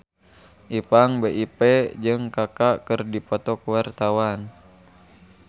Ipank BIP jeung Kaka keur dipoto ku wartawan